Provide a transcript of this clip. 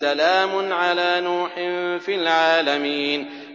سَلَامٌ عَلَىٰ نُوحٍ فِي الْعَالَمِينَ